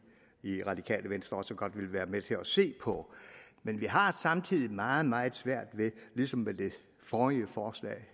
i radikale venstre også godt vil være med til at se på men vi har samtidig meget meget svært ved ligesom ved det forrige forslag